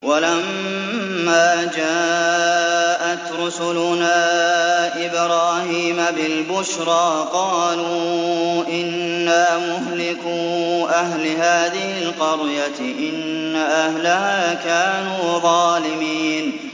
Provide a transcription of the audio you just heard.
وَلَمَّا جَاءَتْ رُسُلُنَا إِبْرَاهِيمَ بِالْبُشْرَىٰ قَالُوا إِنَّا مُهْلِكُو أَهْلِ هَٰذِهِ الْقَرْيَةِ ۖ إِنَّ أَهْلَهَا كَانُوا ظَالِمِينَ